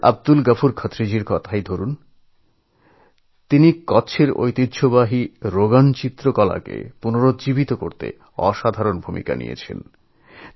গুজরাটের আব্দুল গফুর খাতড়িজীর কথাই ধরন তিনি কচ্ছের ঐতিহ্যবাহী রোগন শিল্পকলাকে পুনরুজ্জীবিত করার জন্য আশ্চর্যজনক কাজ করেছেন